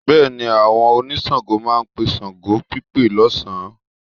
Bẹ́ẹ̀ni, àwọn oníṣàngó máa pe ṣàngópípe lọ́sàn-án